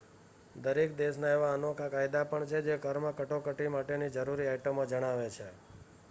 દરેક દેશના એવા અનોખા કાયદા પણ છે જે કારમાં કટોકટી માટેની જરૂરી આઇટમો જણાવે છે